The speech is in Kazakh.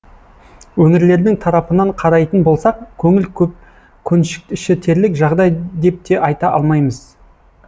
өңірлердің тарапынан қарайтын болсақ көңіл көншітерлік жағдай деп те айта алмаймыз